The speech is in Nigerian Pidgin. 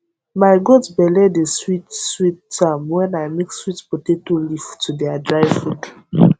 my goat belle de sweet sweet am when i mix sweet potato leaf to their dry food